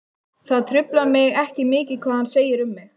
Það truflar mig ekki mikið hvað hann segir um mig.